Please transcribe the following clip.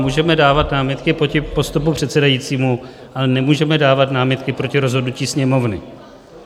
Můžeme dávat námitky proti postupu předsedajícího, ale nemůžeme dávat námitky proti rozhodnutí Sněmovny.